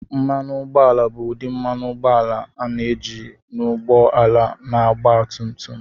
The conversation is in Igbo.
Mmanụ ụgbọala bụ ụdị mmanụ ụgbọala a na-eji n'ụgbọ ala na ọgba tum tum.